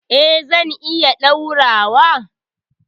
Eh zan iya ɗaurawa.